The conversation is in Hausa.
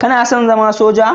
Kana son zama Soja?